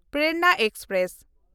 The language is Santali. ᱯᱨᱮᱨᱚᱱᱟ ᱮᱠᱥᱯᱨᱮᱥ